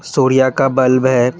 सूर्या का बल्ब है।